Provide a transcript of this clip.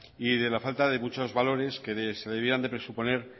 y de la falta de muchos valores que se debieran presuponer